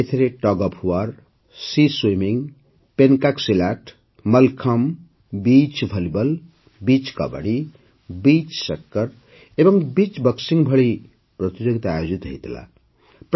ଏଥିରେ tug of war sea swimming pencak silat mallakhamb beach volleyball beach kabaddi beach soccer ଏବଂ beach boxing ଭଳି ପ୍ରତିଯୋଗିତା ଆୟୋଜିତ ହୋଇଥିଲା